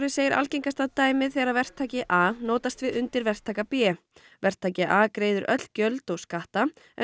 segir algengasta dæmið þegar verktaki a notast við undirverktaka b verktaki a greiðir öll gjöld og skatta en